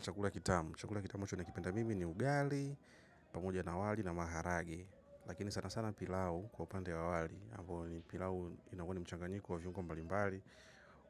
Chakula kitamu. Chakula kitamu ninachokipenda mimi ni ugali, pamoja na wali na maharage. Lakini sana sana pilau kwa upande wa wali ambao ni pilau inakuwa ni mchanganyiko wa viungo mbali mbali.